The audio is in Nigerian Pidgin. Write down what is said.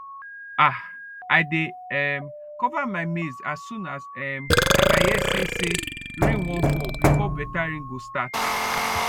um i dey um cover my maize as soon um as i hear say say rain wan fall before better rain go start